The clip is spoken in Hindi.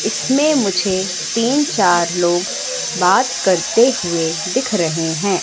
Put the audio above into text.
इसमें मुझे तीन-चार लोग बात करते हुए दिख रहे हैं।